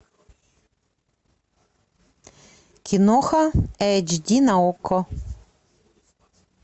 киноха эйч ди на окко